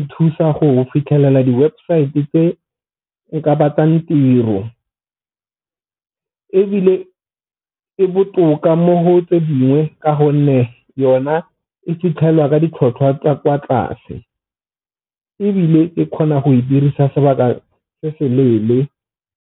nthusa go fitlhelela di-website tse nka batlang tiro, ebile e botoka mo ho tse dingwe ka gonne yona e fitlhelwa ka ditlhotlhwa tsa kwa tlase. Ebile e kgona go e dirisa sebaka se se leele.